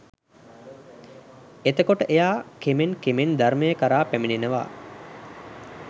එතකොට එයා කෙමෙන් කෙමෙන් ධර්මය කරා පැමිණෙනවා